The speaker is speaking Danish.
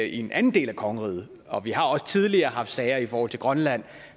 i en anden del af kongeriget og vi har også tidligere haft sager i forhold til grønland